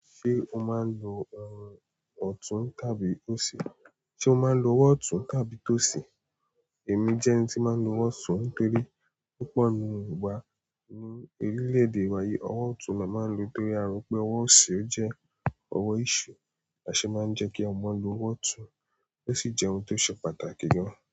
Ṣé o máa ń lo ọrùn ọ̀tún tàbí òsì? Ṣé o máa ń lo ọ̀wọ́ ọ̀tún tàbí tó sì? Èmi jẹ́ ẹni tí máa ń lo ọ̀wọ́ ọ̀tún torí púpọ̀ ní ìgbà ní orílẹ̀ èdè wa yí, ọ̀wọ́ ọ̀tún ni a máa ń lò torí a rò pé ọ̀wọ́ òsì ó jẹ́ ọ̀wọ́ eṣù, àṣe máa ń jẹ́ kí ọmọ lo ọ̀wọ́ ọ̀tún, ó sì jẹ́ ohun tó ṣe pàtàkì gan.